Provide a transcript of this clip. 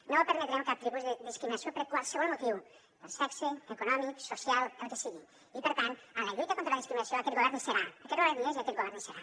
no permetrem cap tipus de discriminació per qualsevol motiu per sexe econòmic social el que sigui i per tant en la lluita contra la discriminació aquest govern hi serà aquest govern hi és i aquest govern hi serà